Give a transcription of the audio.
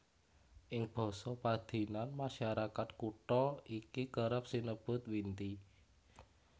Ing basa padinan masyarakat kutha iki kerep sinebut Winti